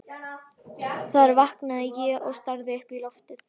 Þar vaknaði ég og starði upp í loftið.